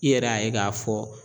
I yɛrɛ y'a ye k'a fɔ